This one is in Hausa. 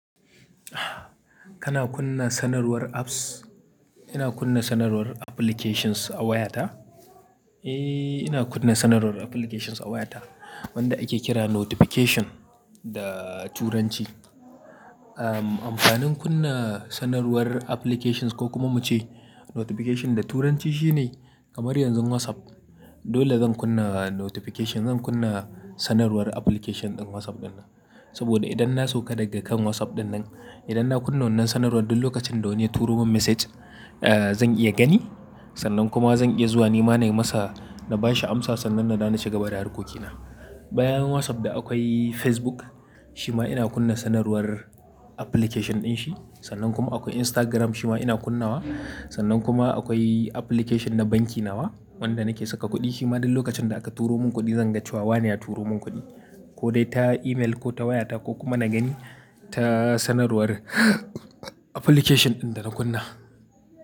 Kana kunna sanarwar apps? Ina kunna sanarwar applications a wayata. Eh, ina kunna sanarwar applications a wayata wanda ake kira notification da turanci. Ahmm, amfanin kunna sanarwar applications ko kuma muce notification da turanci shine kamar yanzu WhatsApp dole zan kunna notification. Zan kunna sanarwar application ɗin WhatsApp ɗinnan saboda idan na sauka daga kan WhatsApp ɗinnan, idan na kunna wannan sanarwar duk lokacin da wani ya turo min message, eh zan iya gani sannan kuma zan iya zuwa ni ma na yi masa na ba shi amsa sannan na dawo na cigaba da harkokina. Bayan WhatsApp da akwai Facebook shima ina kunna sanarwar application dinshi sannan kuma akwai Instagram shima ina kunnawa. Sannan kuma akwai application na banki nawa wanda nake saka kuɗi shima duk lokacin da aka turo mun kuɗi zan ga cewa wane ya turo mun kuɗi ko dai ta email ko ta wayata ko kuma na gani ta sanarwar application ɗin da na kunna.